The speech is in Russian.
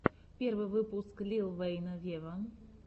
первый выпуск лил вэйна вево